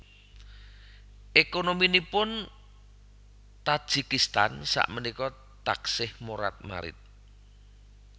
Ekonominipun Tajikistan sak menika taksih morat marit